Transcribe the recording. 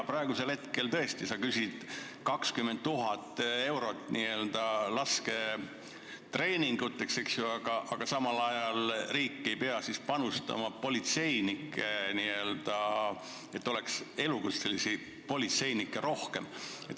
Praegu sa küsid 20 000 eurot n-ö lasketreeninguteks, eks ju, aga samal ajal riik ei pea siis panustama sellesse, et elukutselisi politseinikke oleks rohkem.